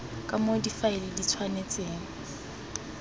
ka moo difaele di tshwanetseng